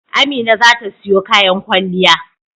Amina za ta siyo kayan kwalliya.